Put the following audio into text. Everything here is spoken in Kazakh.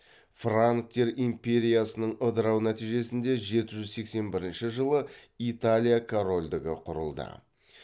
франктер империясының ыдырау нәтижесінде жеті жүз сексен бірінші жылы италия корольдігі құрылды